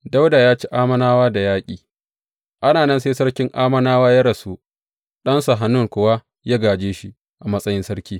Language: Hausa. Dawuda ya ci Ammonawa da yaƙi Ana nan sai sarkin Ammonawa ya rasu, ɗansa Hanun kuwa ya gāje shi a matsayin sarki.